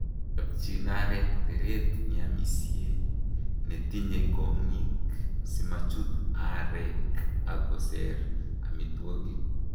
Chopchin areek teret neamisie netinye kong'ik simachut areek ak koseer amitwogik.